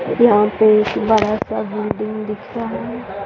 यहाँ पे एक बड़ा सा बिल्डिंग दिख रहा है।